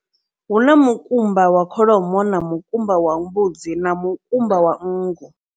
Hu na mukumba wa kholomo, na mukumba wa mbudzi, na mukumba wa nngu.